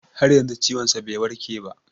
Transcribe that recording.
Har yanzu ciwon sa bai warke ba